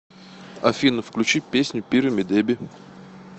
афина включи песня пирамидеби